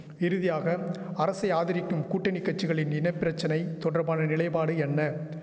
இறுதியாக அரசை ஆதரிக்கும் கூட்டணி கட்சிகளின் இன பிரச்சனை தொடர்பான நிலைபாடு என்ன